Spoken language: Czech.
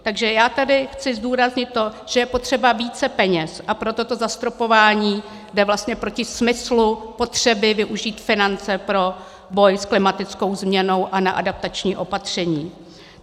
Takže já tady chci zdůraznit to, že je potřeba více peněz, a proto to zastropování jde vlastně proti smyslu potřeby využít finance pro boj s klimatickou změnou a na adaptační opatření.